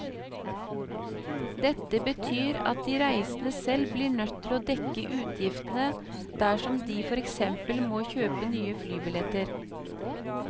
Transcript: Dette betyr at de reisende selv blir nødt til å dekke utgiftene dersom de for eksempel må kjøpe nye flybilletter.